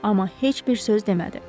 Amma heç bir söz demədi.